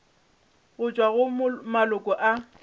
go tšwa go maloko a